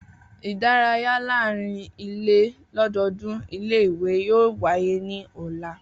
Idaraya laarin ile lododun ile-iwe yoo waye ni ọla.